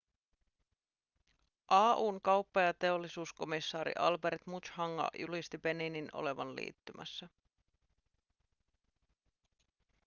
au:n kauppa- ja teollisuuskomissaari albert muchanga julkisti beninin olevan liittymässä